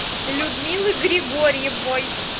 людмилы григорьевой